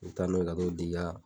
N taa n'o ye ka t'o di ka